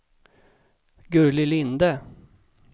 Gurli Linde